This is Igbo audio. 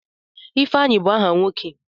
Ifeanyi bụ aha nwoke.